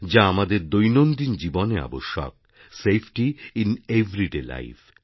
যা আমাদের দৈনন্দিন জীবনে আবশ্যক সেফটি আইএন এভারিডেলাইফ